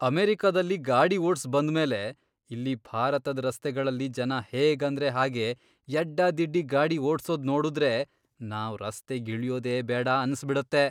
ಅಮೆರಿಕದಲ್ಲಿ ಗಾಡಿ ಓಡ್ಸ್ ಬಂದ್ಮೇಲೆ, ಇಲ್ಲಿ ಭಾರತದ್ ರಸ್ತೆಗಳಲ್ಲಿ ಜನ ಹೇಗಂದ್ರೆ ಹಾಗೇ ಯಡ್ಡಾದಿಡ್ಡಿ ಗಾಡಿ ಓಡ್ಸೋದ್ ನೋಡುದ್ರೆ ನಾವ್ ರಸ್ತೆಗಿಳ್ಯೋದೇ ಬೇಡ ಅನ್ಸ್ಬಿಡತ್ತೆ.